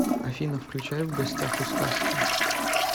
афина включай в гостях у сказки